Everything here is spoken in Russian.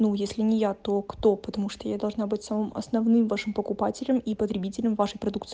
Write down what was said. ну если не я то кто потому что я должна быть самым основным вашим покупателям и потребителям вашей продукции